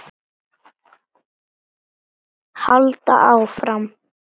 Halda áfram.